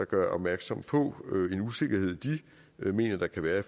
gør opmærksom på en usikkerhed de mener der kan være i